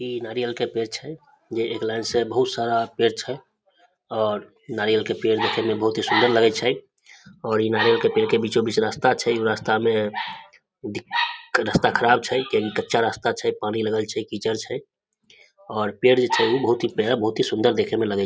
ई नारियल के पेड़ छै जे एक लाइन से बहुत सारा पेड़ छै और नारियल के पेड़ देखे में बहुत ही सुन्दर लागय छै और ई नारियल के पेड़ के बीचो बीच रास्ता छै उ रास्ता में दिख रास्ता ख़राब छै कहै कच्चा रास्ता छय पानी लागल छय कीचड़ छाय और पेड़ जो छै बहुत ही बहुत ही सुन्दर देखे मे लगे --